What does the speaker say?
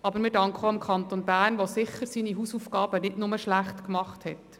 Aber wir danken auch dem Kanton Bern, der seine Hausaufgaben sicher nicht nur schlecht gemacht hat.